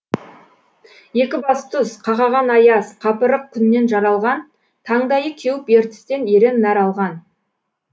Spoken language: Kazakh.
екібастұз қақаған аяз қапырық күннен жаралған таңдайы кеуіп ертістен ерен нәр алған